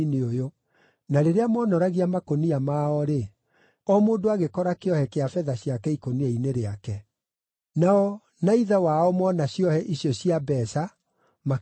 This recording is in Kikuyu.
Na rĩrĩa moonoragia makũnia mao-rĩ, o mũndũ agĩkora kĩohe kĩa betha ciake ikũnia-inĩ rĩake! Nao na ithe wao mona ciohe icio cia mbeeca, makĩmaka.